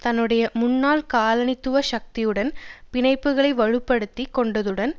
தன்னுடைய முன்னாள் காலனித்துவ சக்தியுடன் பிணைப்புக்களை வலு படுத்தி கொண்டதுடன்